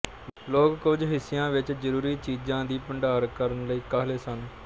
ਲੋਕ ਕੁਝ ਹਿੱਸਿਆਂ ਵਿੱਚ ਜ਼ਰੂਰੀ ਚੀਜ਼ਾਂ ਦੀ ਭੰਡਾਰ ਕਰਨ ਲਈ ਕਾਹਲੇ ਸਨ